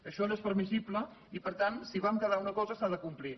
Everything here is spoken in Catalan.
això no és permissible i per tant si vam quedar en una cosa s’ha de complir